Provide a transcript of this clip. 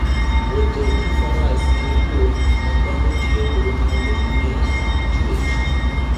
Wuotho gi faras en yo ma dhano tiyogo mondo ging'e chwech.